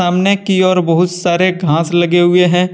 सामने की और बहुत सारे घास लगे हुए हैं।